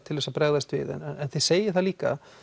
til þess að bregðast við en þið segið líka